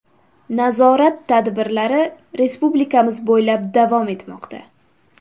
Nazorat tadbirlari respublikamiz bo‘ylab davom etmoqda.